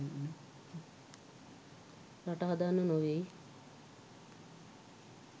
රට හදන්න නෙවෙයි